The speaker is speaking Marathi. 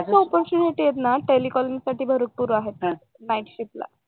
युएसचे opportunity ना टेलिकॅलीन्ग साठी भरपूर आहेत ना नाईटशिपला